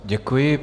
Děkuji.